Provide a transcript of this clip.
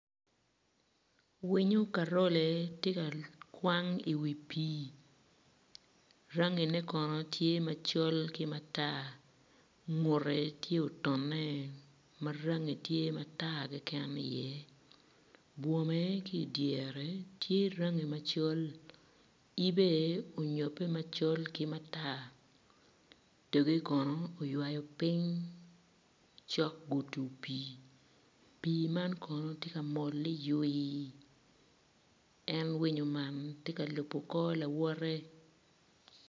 Winyo karole tye ka kwan i wi pii rangine kono tye maco ki matar ngute tye otone ma rangi tye matar keken iye bwome ki i dyere tye rangi macol ibe onyobbe macol ki matar dpge kono oywayo piny cok gudo pii, pii man kono tye ka mol ni ywii en winyo man tye ka lubo kor lawote.